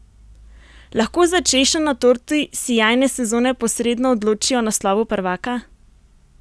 Lahko za češnjo na torti sijajne sezone posredno odloči o naslovu prvaka?